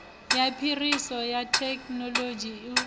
ya phiriso ya thekinolodzhi u